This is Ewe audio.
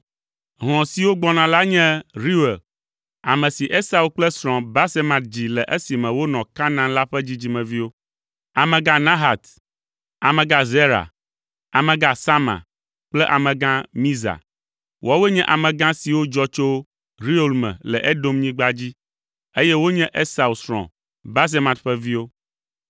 Hlɔ̃ siwo gbɔna la, nye Reuel, ame si Esau kple srɔ̃a Basemat dzi le esime wonɔ Kanaan la ƒe dzidzimeviwo: Amegã Nahat, Amegã Zera, Amegã Sama kple Amegã Miza. Woawoe nye amegã siwo dzɔ tso Reuel me le Edomnyigba dzi, eye wonye Esau srɔ̃ Basemat ƒe viwo.